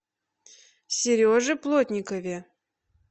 сереже плотникове